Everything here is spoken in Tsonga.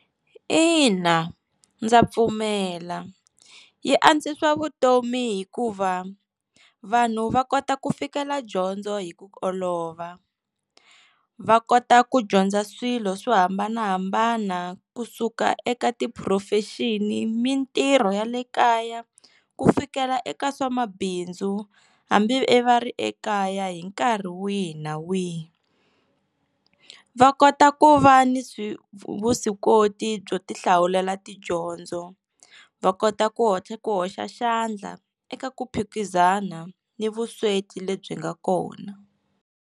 Ina, ndza pfumela yi antswisa vutomi hikuva vanhu va kota ku fikela dyondzo hi ku olova va kota ku dyondza swilo swo hambanahambana kusuka eka ti-profession-i mintirho ya le kaya ku fikela eka swa mabindzu hambi e va ri ekaya hi nkarhi wihi na wihi, va kota ku va ni swi vuswikoti byo ti hlawulela tidyondzo va kota ku hotla ku hoxa xandla eka ku phikizana ni vusweti lebyi nga kona.